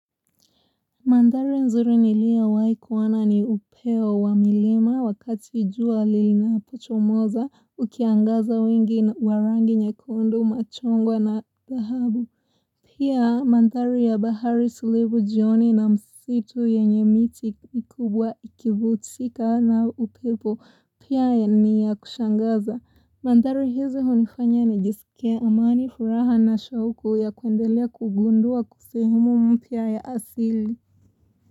Mandhari nzuri niliyowahi kuona ni upeo wa milima wakati jua linapochomoza ukiangaza wengi wa rangi nyekundu machungwa na dhahabu Pia mandhari ya bahari tulivu jioni na msitu yenye miti kubwa ikivutika na upepo pia ni ya kushangaza Mandhari hizi hunifanya nijisikie amani furaha na shauku ya kuendelea kugundua sehemu mpya ya asili.